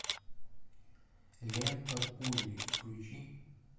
лента пули включи